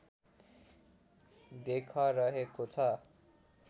देख रहेको छ